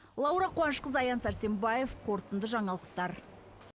лаура қуанышқызы аян сәрсенбаев қорытынды жаңалықтар